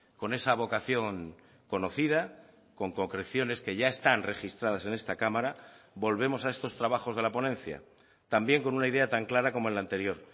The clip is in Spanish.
con esa vocación conocida con concreciones que ya están registradas en esta cámara volvemos a estos trabajos de la ponencia también con una idea tan clara como en la anterior